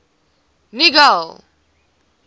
nigel